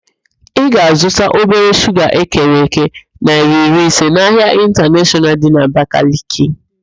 Ị ga-azụta obere shuga ekere èké naịra iri ise n'ahịa ịntaneshọnal dị n'Abakaliki